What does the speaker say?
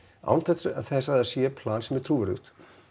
án þess að það sé plan sem er trúverðugt